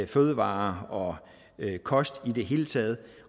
fødevarer og kost i det hele taget